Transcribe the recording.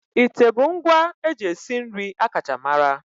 Ite bụ ngwa eji esi nri akacha mara.